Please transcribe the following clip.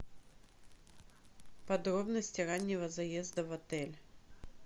подробности раннего заезда в отель